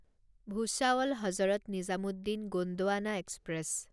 Bhusawal Hazrat Nizamuddin Gondwana express